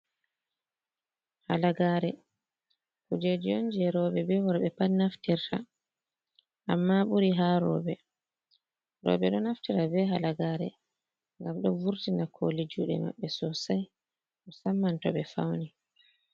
Halagare: Kujeji on je roɓe be worɓe pat naftirta. Amma ɓuri ha roɓe. Roɓe ɗo naftira be halagare ngam ɗo vurtina koli jude maɓɓe sosai musamman to ɓe fauni.